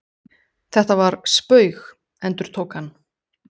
Þetta var spaug. endurtók hann.